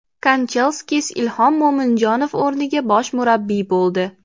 Kanchelskis Ilhom Mo‘minjonov o‘rniga bosh murabbiy bo‘ldi.